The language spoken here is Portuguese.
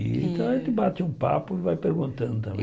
Então a gente bate um papo e vai perguntando também.